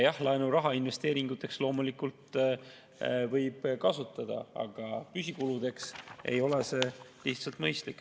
Jah, laenuraha investeeringuteks loomulikult võib kasutada, aga püsikulude puhul ei ole see lihtsalt mõistlik.